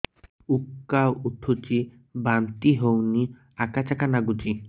ଉକା ଉଠୁଚି ବାନ୍ତି ହଉନି ଆକାଚାକା ନାଗୁଚି